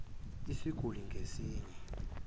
isiguli ngas inye